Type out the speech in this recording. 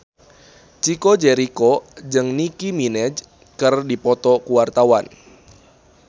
Chico Jericho jeung Nicky Minaj keur dipoto ku wartawan